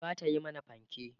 zata Yi mana fanke